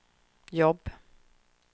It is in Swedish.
jobb